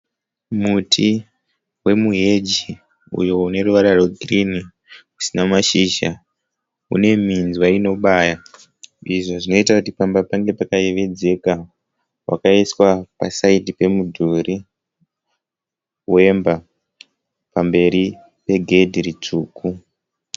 Muti wemuheji uyo une ruvara rwegirini usina mashizha hune minzwa inobaya izvo zvinoita kuti pamba pange pakayevedzeka wakaiswa pasaidhi pemudhuri wemba pamberi pegedhi ritsvuku.